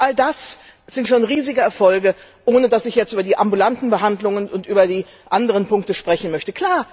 All das sind schon riesige Erfolge, ohne dass ich jetzt über die ambulanten Behandlungen und über die anderen Punkte sprechen möchte.